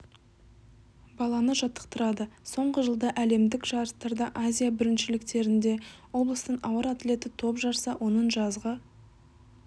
баланы жаттықтырады соңғы жылда әлемдік жарыстарда азия біріншіліктерінде облыстың ауыр атлеті топ жарса оның жазғы